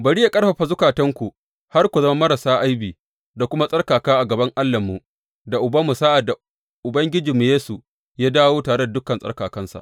Bari yă ƙarfafa zukatanku har ku zama marasa aibi da kuma tsarkaka a gaban Allahnmu da Ubanmu sa’ad da Ubangijimmu Yesu ya dawo tare da dukan tsarkakansa.